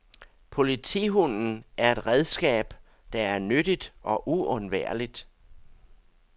Politihunden er et redskab, der er nyttigt og uundværligt.